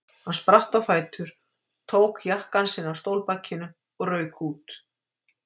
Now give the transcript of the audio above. Hann spratt á fætur, tók jakkann sinn af stólbakinu og rauk út.